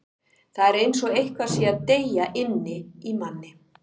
Það er eins og eitthvað sé að deyja inni í manni.